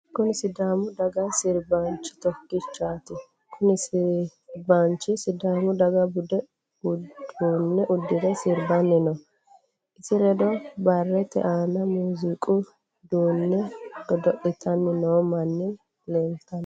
Kunni sidaamu daga sirbaanchi tokichaati. Kunni sirbaanchi sidaamu daga budu uduune udire sirbanni no. Isi ledo barete aanna muuziiqu uduune godo'litanni noo manni leeltano.